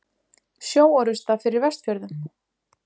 Sjóorrusta fyrir Vestfjörðum?